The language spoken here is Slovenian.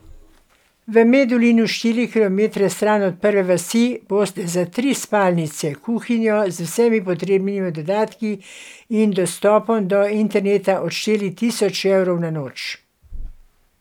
V Medulinu, štiri kilometre stran od prve vasi, boste za tri spalnice, kuhinjo z vsemi potrebnimi dodatki in dostopom do interneta odšteli tisoč evrov na noč.